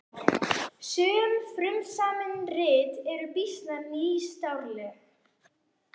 Sum frumsamin rit eru býsna nýstárleg.